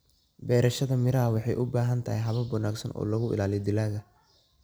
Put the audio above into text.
Beerashada miraha waxay u baahan tahay habab wanaagsan oo lagu ilaaliyo dalagga.